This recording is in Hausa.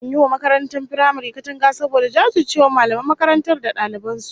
An yi wa makarantar firamaren katanga saboda jajircewar mallaman makarantar da daliban su